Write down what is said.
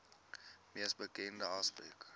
mees bekende aspek